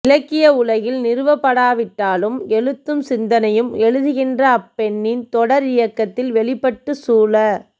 இலக்கிய உலகில் நிறுவப் படாவிட்டாலும் எழுத்தும் சிந்தனையும் எழுதுகின்ற அப்பெண்ணின் தொடர் இயக்கத்தில் வெளிப்பட்டு சூழ